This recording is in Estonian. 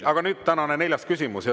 Aga nüüd tänane neljas küsimus.